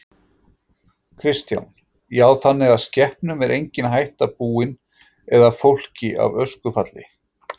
Kristján: Já þannig að skepnum er engin hætta búin eða fólki af öskufalli?